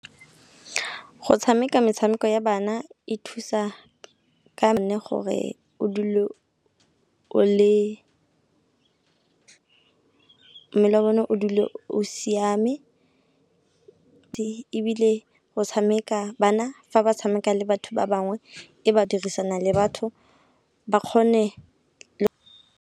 Go tshameka metshameko ya bana e thusa ka nne gore o dule mmele wa bone o dule o siame ebile go tshameka bana fa ba tshameka le batho ba bangwe e ba dirisana le batho ba kgone le .